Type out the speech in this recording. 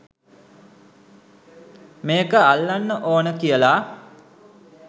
මේක අල්ලන්න ඕන කියලා.